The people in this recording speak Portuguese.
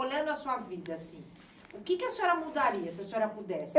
Olhando a sua vida assim, o que a senhora mudaria, se a senhora pudesse?